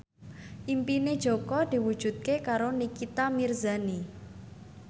impine Jaka diwujudke karo Nikita Mirzani